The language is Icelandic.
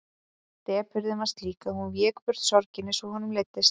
Depurðin var slík að hún vék burt sorginni svo honum leiddist.